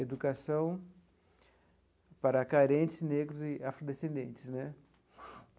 Educação para carentes, negros e afrodescendentes né.